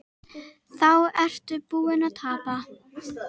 Þá ertu búinn að tapa.